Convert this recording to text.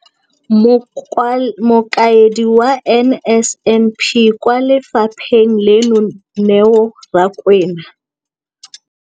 Mokaedi wa NSNP kwa lefapheng leno, Neo Rakwena,